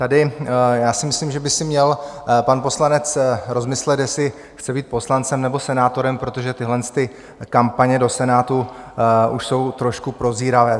Tady - já si myslím, že by si měl pan poslanec rozmyslet, jestli chce být poslancem, nebo senátorem, protože tyhlety kampaně do Senátu už jsou trošku prozíravé.